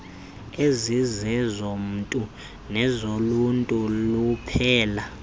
ezizezomntu nezoluntu luphela